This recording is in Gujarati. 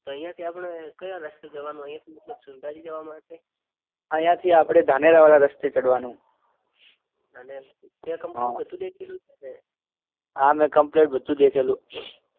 તો અહિયાં થી આપડે કયા રસ્તે જવાનું અહિયાં થી મતલબ સંધાજી જવા માટે અહિયાં આપડે ધાનેરા વાળા રસ્તે ચઢવાનું તે કમ્પ્લીટ બધું દેખેલું છે ને હા મે કમ્પ્લીટ બધું દેખેલું